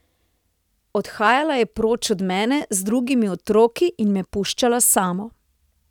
Odhajala je proč od mene z drugimi otroki in me puščala samo.